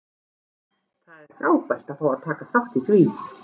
Það er frábært að fá að taka þátt í því.